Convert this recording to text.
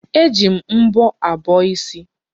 E ji mbọ abọ isi.